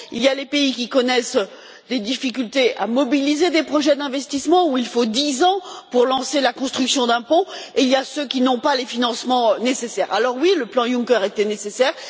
Il y a les pays qui connaissent des difficultés à mobiliser des projets d'investissement, où il faut dix ans pour lancer la construction d'un pont, et il y a ceux qui n'ont pas les financements nécessaires. Alors, oui, le plan Juncker était nécessaire.